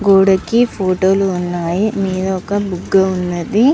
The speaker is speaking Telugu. గోడకి కి ఫోటో లు వున్నాయ్ మేధా ఒక బుగ్గ వున్నది.